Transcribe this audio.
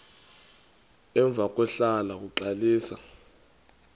emva kwahlala uxalisa